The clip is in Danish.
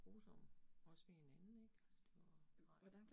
Grusomme, også ved hinanden ik, altså det var, nej